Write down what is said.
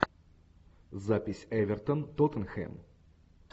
запись эвертон тоттенхэм